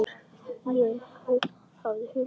Ég hafði hugsað mér það.